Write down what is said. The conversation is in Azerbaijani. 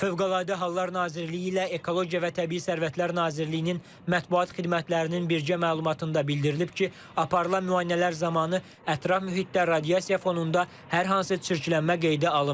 Fövqəladə Hallar Nazirliyi ilə Ekologiya və Təbii Sərvətlər Nazirliyinin mətbuat xidmətlərinin birgə məlumatında bildirilib ki, aparılan müayinələr zamanı ətraf mühitdə radiasiya fonunda hər hansı çirklənmə qeydə alınmayıb.